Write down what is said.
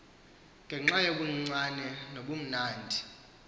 ngenxa yobuncinane nobumnandi